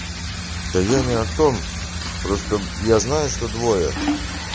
да я не о том просто я знаю что двое